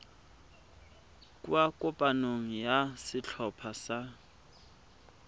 kwa kopanong ya setlhopha sa